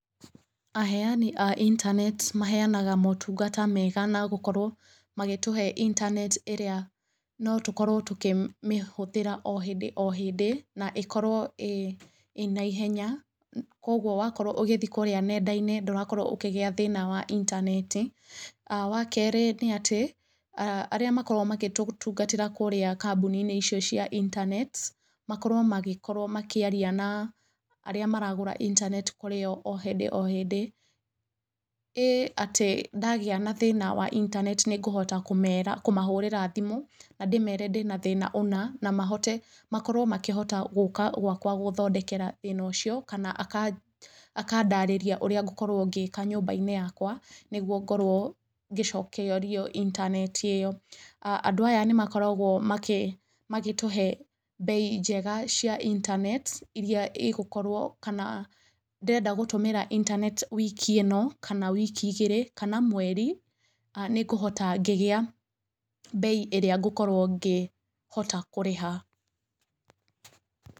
Aheani a intaneti maheanaga motungata mega na gũkorwo magĩtũhe intaneti ĩrĩa no tũkorwo tũkĩmĩhũthĩra o hĩndĩ o hĩndĩ na ĩkorwo ĩ na ihenya kwoguo wakorwo ũgĩthiĩ kũrĩa nenda-inĩ ndũrakorwo ũkĩgĩa thĩna wa intaneti. Wa keerĩ nĩ atĩ, arĩa makoragwo magĩtũtungatĩra kũrĩa kambuni-inĩ icio cia intaneti makorwo magĩkorwo makĩaria na arĩa maragũra intaneti kũrĩ o o hindĩ o hĩndĩ, ĩ atĩ ndagĩa na thĩna wa intaneti nĩngũhota kũmera, kũmahũrĩra thimũ, na ndĩmere ndĩ na thĩna ũna, na mahote, makorwo makĩhota gũũka gwakwa gũthondekera thĩna ũcio kana akandarĩria ũrĩa ngũkorwo ngĩĩka nyũmba-inĩ yakwa nĩguo ngorwo ngĩcokerio intaneti ĩyo. Andu aya nĩ makoragwo magĩtũhe mbei njega cia intaneti iria igũkorwo kana ndĩrenda gũtũmĩra intaneti wiki ĩno kana wiki igĩrĩ kana mweri nĩngũhota ngĩgĩa mbei ĩrĩa ngũkorwo ngĩhota kũrĩha.